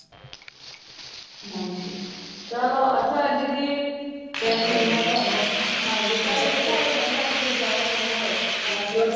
ਹਨਜੀ ਚਲੋ ਅੱਛਾ ਆਂਟੀ ਜੀ ਫੇਰ ਮਿਲਦੇ ਆ ਤੁਹਾਨੂੰ ਹਨਜੀ ਕਲ ਦੇਖਾ ਗੇ ਮਨਸਾ ਸਿੰਘ ਦੇ ਗੁਰੂਦੁਆਰੇ ਮੇਲ ਹੋਏਗਾ ਮਿਲਾਂਗੇ